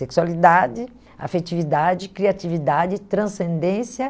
Sexualidade, afetividade, criatividade, transcendência.